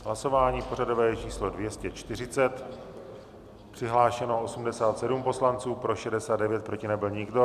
Hlasování pořadové číslo 240, přihlášeno 87 poslanců, pro 69, proti nebyl nikdo.